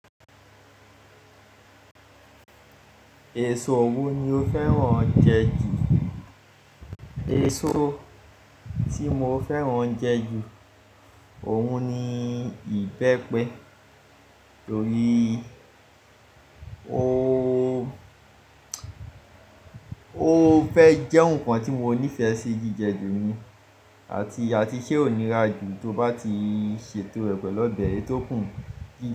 Èso wo ni o fẹ́ràn jẹ jù? Èso tí mo fẹ́ràn jẹ ju òun ni ìbẹ́pẹ, torí ó, ó fẹ́ jẹ́ nǹkan tí mo nífẹ̀ẹ́ sí jíjẹ jù ni àti, àti ṣe ò níra jù tó bá ti ṣètò rẹ̀ pẹ̀lú ọbẹ̀ ẹtọ kùn jí.